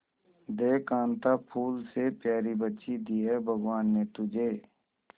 देख कांता फूल से प्यारी बच्ची दी है भगवान ने तुझे